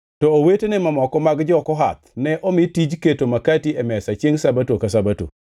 To owetene mamoko mag jo-Kohath ne omi tij keto makati e mesa chiengʼ Sabato ka Sabato.